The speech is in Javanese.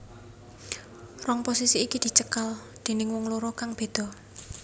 Rong posisi iki dicekel déning wong loro kang beda